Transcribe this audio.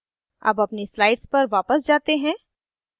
अब अपनी slides पर वापस जाते हैं